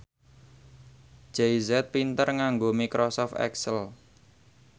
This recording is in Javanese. Jay Z pinter nganggo microsoft excel